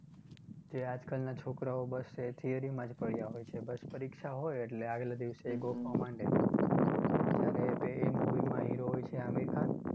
જે આજકાલના છોકરાઓ બસ એ theory માં જ પડયા હોય છે બસ પરીક્ષા હોય એટલે આગલાં દિવસે ગોખવા માંડે. જ્યારે એ તે movie માં hero હોય છે આમિર ખાન